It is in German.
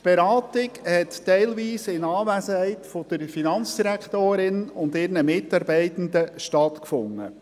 Die Beratung fand teilweise in Anwesenheit der Finanzdirektorin und ihren Mitarbeitenden statt.